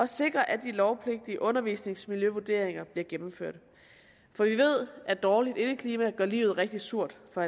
sikre at de lovpligtige undervisningsmiljøvurderinger bliver gennemført for vi ved at dårligt indeklima gør livet rigtig surt for